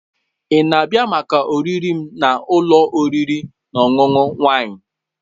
Ị na-abịa maka oriri m na ụlọ oriri na ọṅụṅụ Wine?